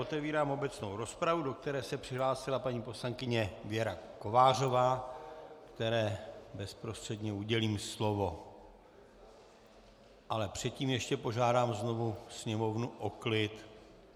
Otevírám obecnou rozpravu, do které se přihlásila paní poslankyně Věra Kovářová, které bezprostředně udělím slovo, ale předtím ještě žádám znovu sněmovnu o klid.